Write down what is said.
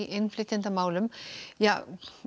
innflytjendamálum